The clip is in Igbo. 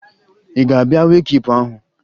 Ị ga-abịa wee kiipu ahụ?